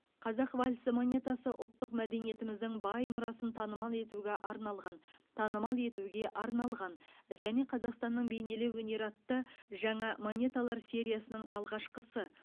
қазақ вальсі монетасы ұлттық мәдениетіміздің бай мұрасын танымал етуге арналған танымал етуге арналған және қазақстанның бейнелеу өнері атты жаңа монеталар сериясының алғашқысы